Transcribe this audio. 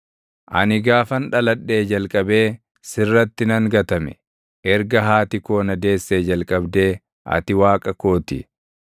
Ani gaafan dhaladhee jalqabee sirratti nan gatame; erga haati koo na deessee jalqabdee ati Waaqa koo ti.